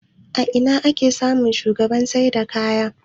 A ina ake samun shagunan saida kaya?